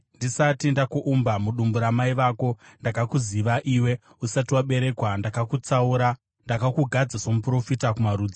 “Ndisati ndakuumba mudumbu ramai vako, ndakakuziva iwe, usati waberekwa, ndakakutsaura; ndakakugadza somuprofita kumarudzi.”